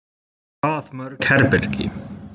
Hvað mörg herbergi?